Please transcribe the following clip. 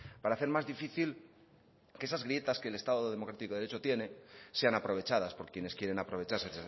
para hacer más difícil que esas grietas que el estado democrático de derecho tiene sean aprovechadas por quienes quieren aprovecharse